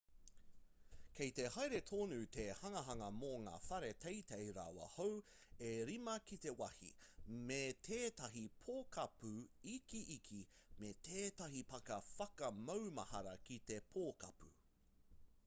kei te haere tonu te hanganga mō ngā whare teitei rawa hou e rima ki te wāhi me tētahi pokapū ikiiki me tētahi pāka whakamaumahara ki te pokapū